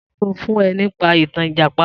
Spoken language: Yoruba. Ta ló sọ fún ẹ nípa ìtàn Ìjàpá?